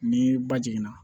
Ni ba jiginna